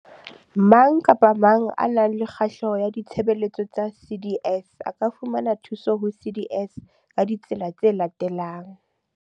Mang kapa mang ya nang le kgahleho ditshebeletsong tsa CDS a ka fumana thuso ho CDS ka ditsela tse latelang.